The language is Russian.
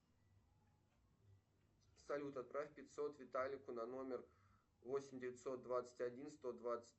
салют отправь пятьсот виталику на номер восемь девятьсот двадцать один сто двадцать